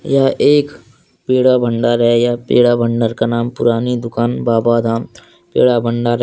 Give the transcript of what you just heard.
यह एक पेड़ा भंडार है या पेड़ा भंडार का नाम पुरानी दुकान बाबा धाम पेड़ा भंडार है।